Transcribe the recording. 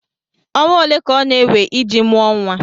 ọnwa ole ka ọ na-ewe iji mụọ nwa?